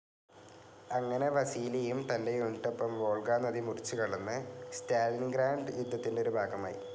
അങ്ങനെ വസീലിയും തന്റെ യൂണിറ്റിനൊപ്പം വോൾഗ നദി മുറിച്ചു കടന്നു സ്റ്റാലിൻഗ്രാഡ് യുദ്ധത്തിന്റെ ഒരു ഭാഗമായി.